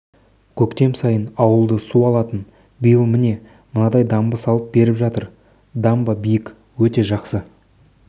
көктем сайын ауылды су алатын биыл міне мынадай дамба салып беріп жатыр дамба биік өте жақсы